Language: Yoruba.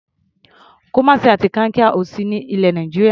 Kumasi àti Kankia ò sí ní ilẹ̀ Nàìjíríà.